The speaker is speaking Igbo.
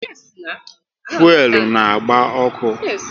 Fuelu na agba ọkụ